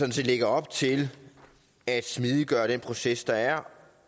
lægger op til at smidiggøre den proces der er